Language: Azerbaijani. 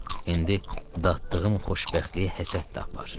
İndi dadtdığım xoşbəxtliyə həsəd apar.